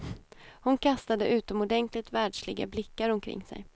Hon kastade utomordentligt världsliga blickar omkring sig.